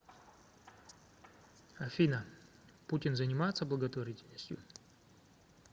афина путин занимается благотворительностью